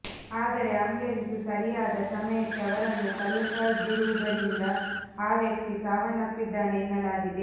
ಆದರೆ ಆಂಬ್ಯುಲೆನ್ಸ್ ಸರಿಯಾದ ಸಮಯಕ್ಕೆ ಅವರನ್ನು ತಲುಪದಿರುವುದರಿಂದ ಆ ವ್ಯಕ್ತಿ ಸಾವನ್ನಪ್ಪಿದ್ದಾನೆ ಎನ್ನಲಾಗಿದೆ